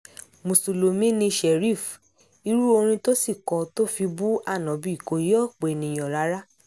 mùsùlùmí ni sharif irú orin tó sì kọ tó fi bu ánọ́bì kò yé ọ̀pọ̀ èèyàn rárá